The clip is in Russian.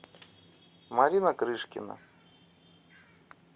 марина крышкина